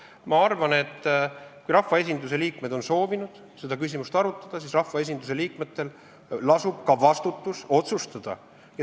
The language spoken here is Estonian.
Ma arvan, et kui rahvaesinduse liikmed on soovinud seda küsimust arutada, siis rahvaesinduse liikmetel lasub ka vastutus otsustada.